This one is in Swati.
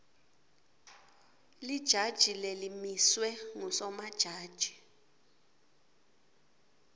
lijaji lelimiswe ngusomajaji